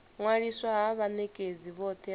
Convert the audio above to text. ṅwaliswa ha vhanekedzi vhothe vha